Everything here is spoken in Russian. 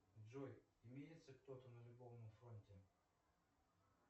джой имеется кто то на любовном фронте